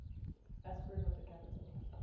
aspirin with a capital